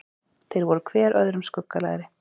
Þeir voru hver öðrum skuggalegri.